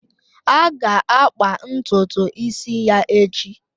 A ga-akpa ntutu isi ya echi